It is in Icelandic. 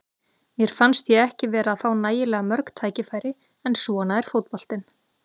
Mér fannst ég ekki vera að fá nægilega mörg tækifæri, en svona er fótboltinn.